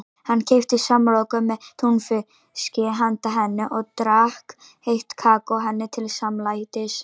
Hann keypti samloku með túnfiski handa henni og drakk heitt kakó henni til samlætis.